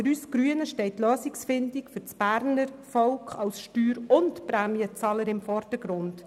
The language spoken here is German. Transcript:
Für uns Grüne steht die Lösungsfindung für das Berner Volk als Steuer- und Prämienzahler im Vordergrund.